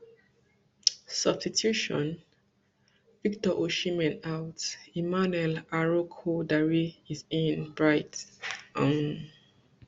substitution victor osimhen out emmanuel arokodare is in bright um